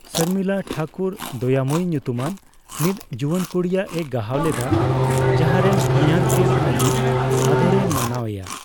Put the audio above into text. ᱥᱚᱨᱢᱤᱞᱟ ᱴᱷᱟᱠᱩᱨ ᱫᱚᱭᱟᱢᱳᱭᱤ ᱧᱩᱛᱩᱢᱟᱱ ᱢᱤᱫ ᱡᱩᱣᱟᱱ ᱠᱩᱲᱤᱭᱟᱜᱼᱮ ᱜᱟᱦᱟᱣ ᱞᱮᱫᱟ, ᱡᱟᱦᱟᱭᱨᱮᱱ ᱦᱚᱧᱦᱟᱨ ᱛᱮᱫ ᱟᱹᱡᱤᱡ ᱟᱫᱚᱨᱮ ᱢᱟᱱᱟᱣ ᱮᱭᱟ᱾